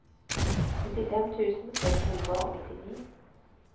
nittifem tusen seks hundre og nittini